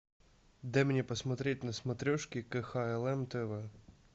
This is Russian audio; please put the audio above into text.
дай мне посмотреть на смотрешке кхлм тв